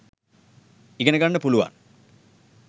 ඉගෙන ගන්න පුළුවන්.